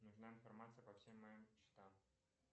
нужна информация по всем моим счетам